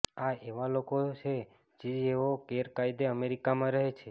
આ એવા લોકો છે જેઓ ગેરકાયદે અમેરિકામાં રહે છે